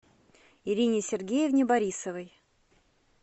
ирине сергеевне борисовой